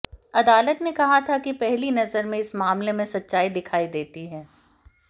अदालत ने कहा था कि पहली नजर में इस मामले में सच्चाई दिखाई देती है